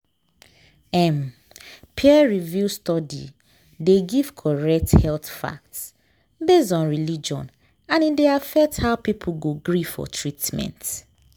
um peer-reviewed study dey give correct health fact based on religion and e dey affect how people go gree for treatment.